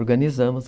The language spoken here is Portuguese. Organizamos.